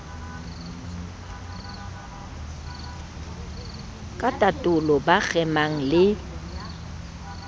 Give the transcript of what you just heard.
ka tatolo ba kgemang le